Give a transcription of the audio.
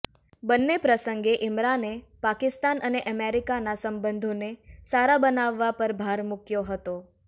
બંને પ્રસંગે ઈમરાને પાકિસ્તાન અને અમેરિકાના સંબંધોને સારા બનાવવા પર ભાર મૂક્યો હતો